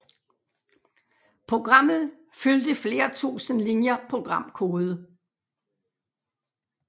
Programmet fyldte flere tusind linjer programkode